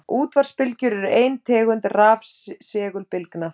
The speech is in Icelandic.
Útvarpsbylgjur eru ein tegund rafsegulbylgna.